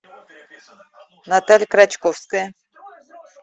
наталья крачковская